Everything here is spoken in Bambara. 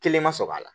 Kelen ma sɔr'a la